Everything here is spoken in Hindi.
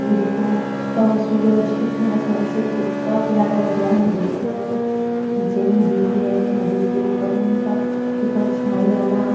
ये देखो तव सूरज कितना सनसेट कितना प्यारा लग रहा है देखने में नीचे नदी है नदी के ऊपर उनका की परछाई आना।